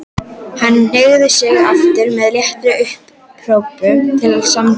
Hann hneigði sig aftur með léttri upphrópun til samþykkis.